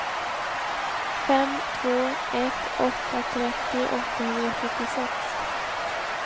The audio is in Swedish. fem två ett åtta trettio åttahundrasjuttiosex